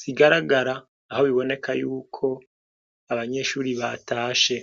zigaragara, aho biboneka yuko ,abanyeshure batashe.